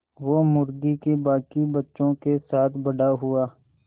वो मुर्गी के बांकी बच्चों के साथ बड़ा हुआ